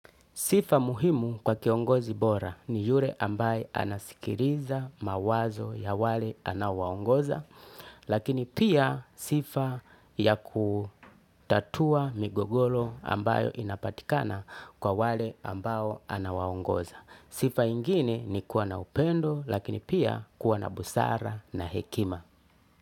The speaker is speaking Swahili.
Sifa muhimu kwa kiongozi bora ni yule ambaye anasikiliza mawazo ya wale anao waongoza lakini pia sifa ya kutatua migogoro ambayo inapatikana kwa wale ambao anawaongoza. Sifa ingine ni kuwa na upendo lakini pia kuwa na busara.